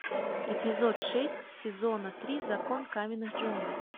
эпизод шесть сезона три закон каменных джунглей